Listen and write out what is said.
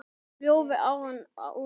Ljóð: Árni úr Eyjum